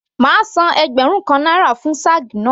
Màá san ẹgbẹ̀rún kan náírà fún shag náà.